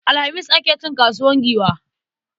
Alhamis ake cin kasuwar Giwa.